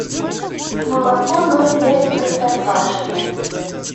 молоко ноль пять простоквашино